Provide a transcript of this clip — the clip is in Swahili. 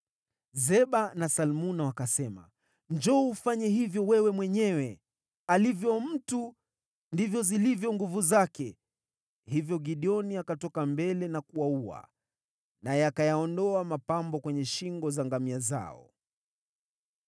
Zeba na Salmuna wakasema, “Njoo ufanye hivyo wewe mwenyewe. ‘Alivyo mtu, ndivyo zilivyo nguvu zake.’ ” Hivyo Gideoni akatoka mbele na kuwaua, naye akayaondoa mapambo kwenye shingo za ngamia zao.